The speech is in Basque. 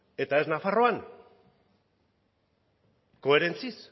eta ez nafarroan koherentziaz